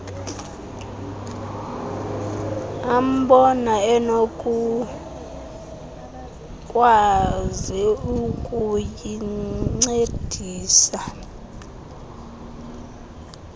ambona enokukwazi ukuyincedisa